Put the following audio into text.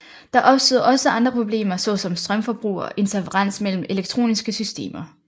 Der opstod også andre problemer såsom strømforbrug og interferens mellem elektroniske systemer